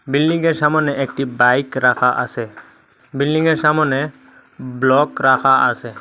বিল্ডিংয়ের সামোনে একটি বাইক রাকা আসে বিল্ডিংয়ের সামোনে ব্লক রাখা আসে।